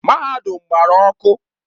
Mahadum gbara ọkụ.